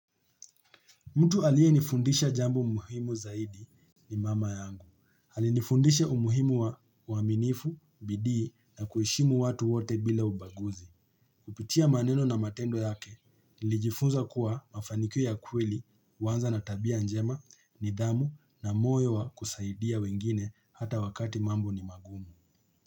Mtu aliyenifundisha jambo muhimu zaidi ni mama yangu. Alinifundisha umuhimu wa uaminifu, bidii na kuheshimu watu wote bila ubaguzi. Kupitia maneno na matendo yake, nilijifunza kuwa mafanikio ya kweli, huanza na tabia njema, nidhamu na moyo wa kusaidia wengine hata wakati mambo ni magumu.